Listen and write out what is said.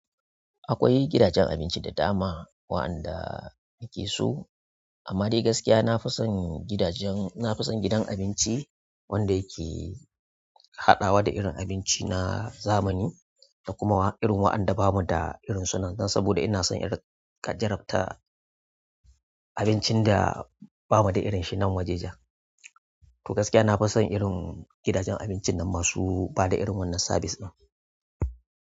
Akwai gidajen abinci da dama wa'anda nake so, amma dai gaskiya na fi son gidajen--na fi son gidan abinci wanda yake haɗawa da irin abinci na zamani da kuma irin wa'anda bamu da irinsu nan, don saboda ina son irinka jarrabta abincin da bamu da irin shi nan wajejen. To gaskiya na fi son irin gidajen abincin nan masu bada irin wannan sabis ɗin.